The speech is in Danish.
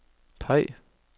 peg